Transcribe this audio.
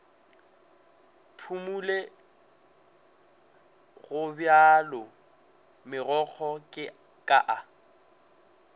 phumole gobjalo megokgo ka a